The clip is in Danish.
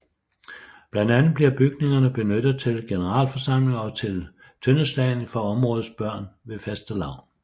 Blandt andet bliver bygningerne benyttet til generalforsamlinger og til tøndeslagning for områdets børn ved Fastelavn